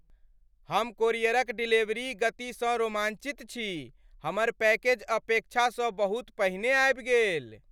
हम कोरियरक डिलीवरी गतिसँ रोमाञ्चित छी। हमर पैकेज अपेक्षासँ बहुत पहिने आबि गेल!